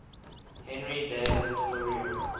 henry david thoreau